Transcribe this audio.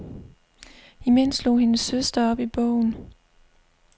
Imens slog hendes søster op i bogen.